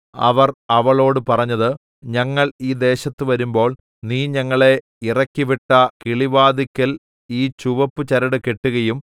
അവർ അവളോട് പറഞ്ഞത് ഞങ്ങൾ ഈ ദേശത്ത് വരുമ്പോൾ നീ ഞങ്ങളെ ഇറക്കിവിട്ട കിളിവാതില്ക്കൽ ഈ ചുവപ്പു ചരട് കെട്ടുകയും